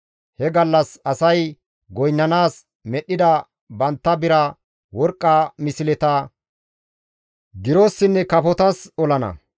He gallas asay goynnanaas medhdhida bantta bira, worqqa misleta girossinne kafotas olana.